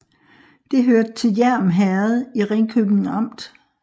Det hørte til Hjerm Herred i Ringkøbing Amt